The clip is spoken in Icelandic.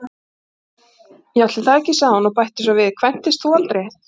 Já, ætli það ekki, sagði hún og bætti svo við: Kvæntist þú aldrei?